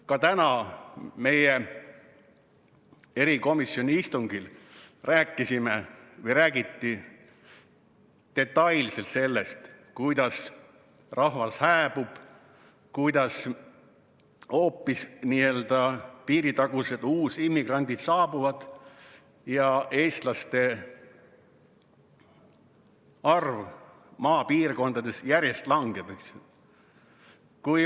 Ka täna erikomisjoni istungil räägiti detailselt sellest, kuidas rahvas hääbub, kuidas hoopis piiritagused uusimmigrandid saabuvad ja eestlaste arv maapiirkondades järjest langeb.